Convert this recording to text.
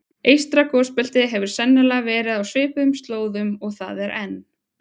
Eystra gosbeltið hefur sennilega verið á svipuðum slóðum og það er enn.